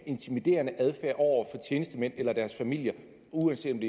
intimiderende adfærd over for tjenestemænd eller deres familier uanset